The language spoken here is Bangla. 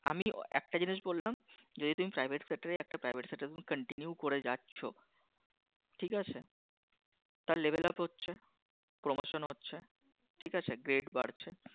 আমি একটা জিনিস বললাম যদি তুমি Private Sector একটা Private Sector তুমি Continue করে যাচ্ছ ঠিক আছে তার Level Up হচ্ছে, Promotion হচ্ছ্‌ ঠিক আছে Grade বাড়ছে